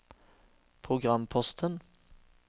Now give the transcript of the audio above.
programposten